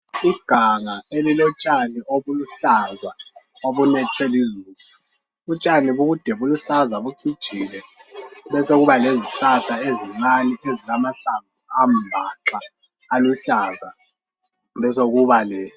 Iganga elilotshani obuluhlaza obunethwe lizulu, utshani bude buluhluza lucijile. Besekuba lezihlahla ezincane ezilamahlamvu ambaxa aluhlaza, besekuba le.